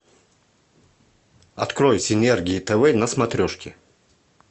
открой синергия тв на смотрешке